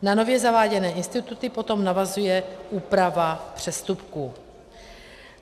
Na nově zaváděné instituty potom navazuje úprava přestupků.